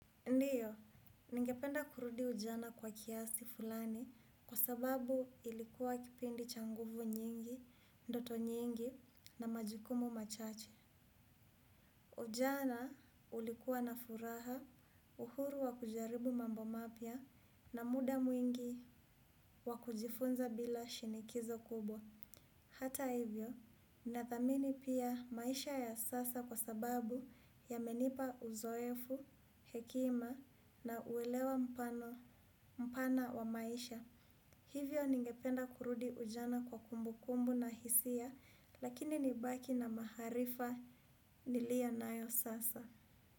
Ndiyo, ningependa kurudi ujana kwa kiasi fulani kwa sababu ilikuwa kipindi cha nguvu nyingi, ndoto nyingi na majukumu machache. Ujana ulikuwa na furaha, uhuru wa kujaribu mambo mapya na muda mwingi wa kujifunza bila shinikizo kubwa. Hata hivyo, nathamini pia maisha ya sasa kwa sababu yamenipa uzoefu, hekima na uelewa mpana wa maisha. Hivyo ningependa kurudi ujana kwa kumbukumbu na hisia, lakini nibaki na maharifa niliyo nayo sasa.